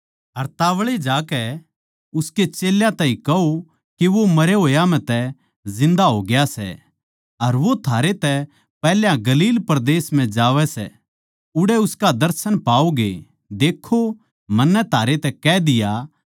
अर तोळी जाकै उसके चेल्यां ताहीं कहो के वो मरे होया म्ह तै जिन्दा होग्या सै अर वो थारै तै पैहल्या गलील परदेस म्ह जावै सै उड़ै उसका दर्शन पाओगे देक्खो मन्नै थारै तै कह दिया